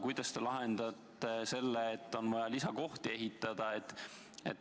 Kuidas te lahendate selle, et on vaja lisakohti ehitada?